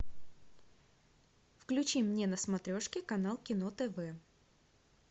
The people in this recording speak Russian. включи мне на смотрешке канал кино тв